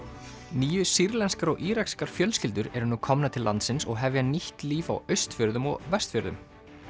níu sýrlenskar og írakskar fjölskyldur eru nú komnar til landsins og hefja nýtt líf á Austfjörðum og Vestfjörðum